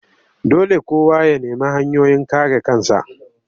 Dole kowa ya nemi hanyoyin kare kansa